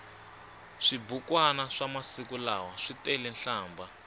swibukwani swamasiku lawa switelenhlambha